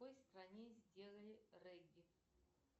в какой стране сделали регги